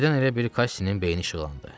Birdən elə bil Qassinin beyni işıqlandı.